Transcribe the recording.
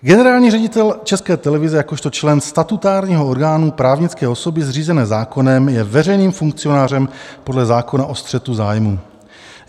Generální ředitel České televize jakožto člen statutárního orgánu právnické osoby zřízené zákonem je veřejným funkcionářem podle zákona o střetu zájmů.